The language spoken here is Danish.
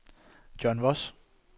John Voss